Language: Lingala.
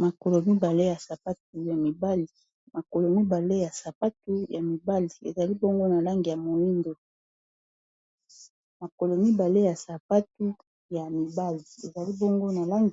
Makolo mibale ya sapatu ya mibali ezali bongo na langi